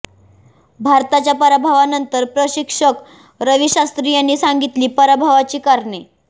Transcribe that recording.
भारताच्या पराभवानंतर प्रशिक्षक रवी शास्त्री यांनी सांगितली पराभवाची कारणे